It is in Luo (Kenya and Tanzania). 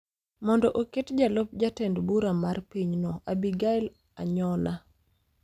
mondo oket jalup jatend bura mar pinyno, Abigail Anyona